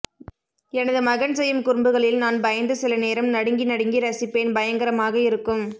எனது மகன் செய்யும் குரும்புகளில் நான் பயந்து சில நேரம் நடுங்கி நடுங்கி ரசிப்பேன் பயங்கரமாக இருக்கும்